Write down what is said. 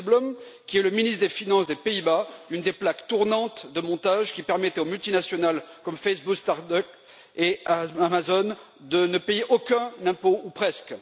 Dijsselbloem, qui est le ministre des finances des Pays Bas, une des plaques tournantes de montage qui permettent aux multinationales comme Facebook, Starbucks et Amazon de ne payer aucun impôt ou presque.